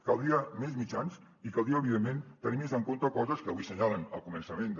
caldrien més mitjans i caldria evidentment tenir més en compte coses que avui assenyalen al començament de